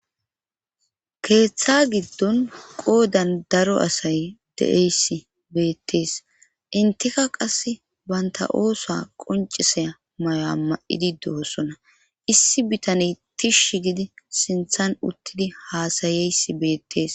Keeththa giddon qoodan daro asay de7eyss beettees inteka qass baynta oosa qoncisay mayo'a ma7idi do7osona issi bitane tishi gidi sinthan uttidi haasayeysi beettees.